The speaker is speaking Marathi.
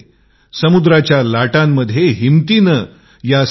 समुद्राच्या लाटांमध्ये हिंमतीने या सहा मुली